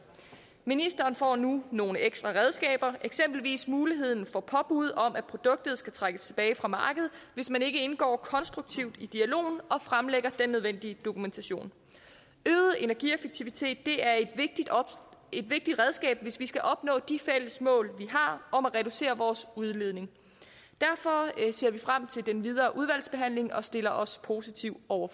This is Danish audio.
ministeren får nu nogle ekstra redskaber eksempelvis muligheden for påbud om at produktet skal trækkes tilbage fra markedet hvis man ikke indgår konstruktivt i dialogen og fremlægger den nødvendige dokumentation øget energieffektivitet er et vigtigt redskab hvis vi skal opnå de fælles mål vi har om at reducere udledningen derfor ser vi frem til den videre udvalgsbehandling og stiller os positive over